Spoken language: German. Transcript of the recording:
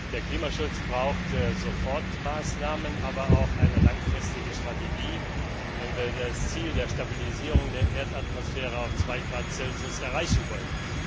Der Klimaschutz braucht Sofortmaßnahmen, aber auch eine langfristige Strategie, wenn wir das Ziel der Stabilisierung der Erdatmosphäre auf 2 Grad Celsius erreichen wollen.